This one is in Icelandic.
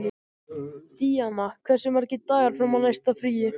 Díanna, hversu margir dagar fram að næsta fríi?